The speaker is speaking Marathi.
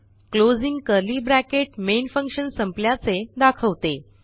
closing curly bracket main function संपल्याचे दाखवते